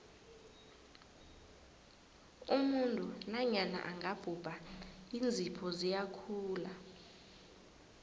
umuntu nanyana angabhubha iinzipho ziyakhula